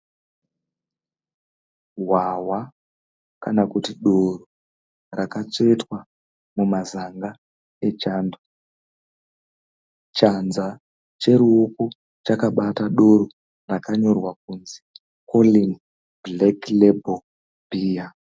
Hwahwa kana kuti doro rakatsvetwa mumazanga echando. Chanza cheruoko chakabata doro rakanyorwa kuti koreni bhureki rebhoro bhiya.